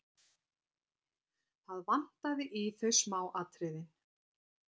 Það vantaði í þau smáatriðin.